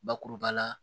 Bakuruba la